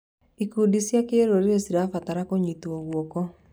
Ikundi cia kĩrũrĩrĩ cirabatara kũnyitwo guoko.